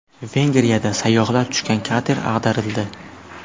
Vengriyada sayyohlar tushgan kater ag‘darildi.